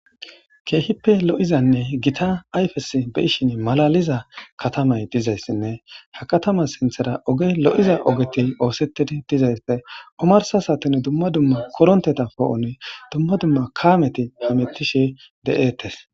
Keehippe lo7izanne gita ayfes be7anas keehi malaaliza katamay dizayssanne ha kataman sinththara ogey lo7iza ogey oosetishe dizayssanne omarssa saaten dumma dumma korontte poo7on dumma dumma kaameti hametishe de7etes.